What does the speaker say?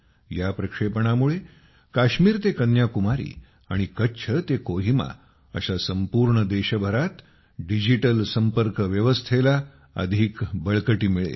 या प्रक्षेपणामुळे काश्मीर ते कन्याकुमारी आणि कच्छ ते कोहिमा अशा संपूर्ण देशभरात डिजिटल संपर्क व्यवस्थेला अधिक बळकटी मिळेल